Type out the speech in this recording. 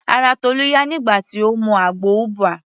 Ara Tolu yá nígbà tí Ó mu àgbo ubwa.